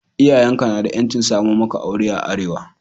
Iyayen ka na da 'yancin samo maka aure a Arewa.